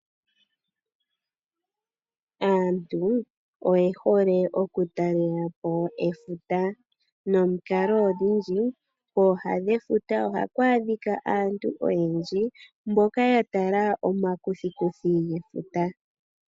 Aantu oyehole oku talelapo efuta . Kooha dhefuta ohaku adhika aantu oyendji mboka yatala omakuthikuthi gefuta.